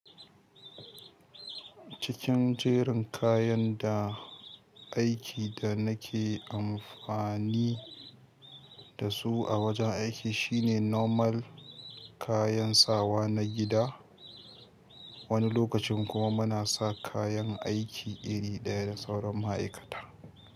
Cikin jerin kayan da aiki da na ke amfani da su a wurin aiki su ne normal kayan sawa na gifa. Wani lokacin kuma muna sa kayan aiki iri ɗaya da sauran ma'aikata.